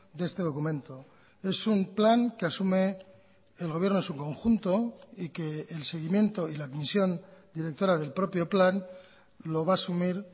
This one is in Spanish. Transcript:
de este documento es un plan que asume el gobierno en su conjunto y que el seguimiento y la admisión directora del propio plan lo va a asumir